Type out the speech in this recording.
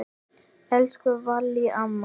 Elsku Vallý amma.